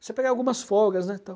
Você pega algumas folgas, né? Então,